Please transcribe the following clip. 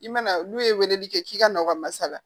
I mana n'u ye weleli kɛ k'i ka nakɔ masala